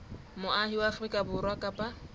moahi wa afrika borwa kapa